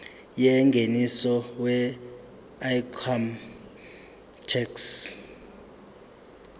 yengeniso weincome tax